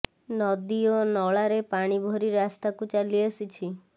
ନଦୀ ଓ ନଳାରେ ପାଣି ଭରି ରାସ୍ତାକୁ ଚାଲି ଆସିଛି